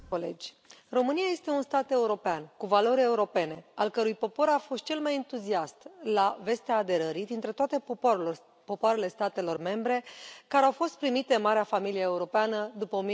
Doamna președintă, România este un stat european cu valori europene, al cărei popor a fost cel mai entuziast la vestea aderării dintre toate popoarele statelor membre care au fost primite în marea familie europeană după